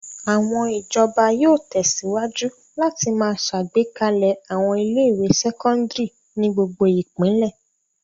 Àwọn ìjọba yóò tẹ̀síwájú láti máa ṣàgbékalẹ̀ àwọn ilé-ìwé sẹ́kọ́ndárì ní gbogbo ìpínlẹ̀.